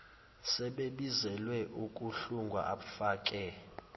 sebebizelwe ukuhlungwa abfake